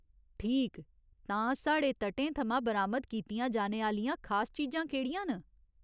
ठीक ! तां साढ़े तटें थमां बरामद कीतियां जाने आह्‌लियां खास चीजां केह्ड़ियां न?